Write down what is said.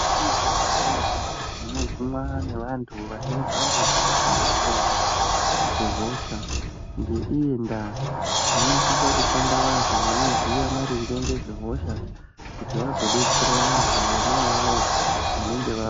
Muzvibhehleya munogumwa nevantu vanemhando dzakasiyana-siyana dzehosha. Ngeiyi ndaa munosisa kushanda vantu vanoziya maringe ngezvehosha kuti vazodetsera vantu vona avavo vanenge va...